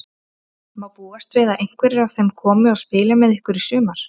Má búast við að einhverjir af þeim komi og spili með ykkur í sumar?